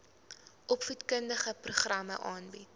opvoedkundige programme aanbied